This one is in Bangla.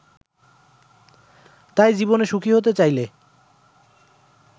তাই জীবনে সুখী হতে চাইলে